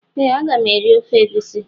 Ee a ga m eri ofe egusi.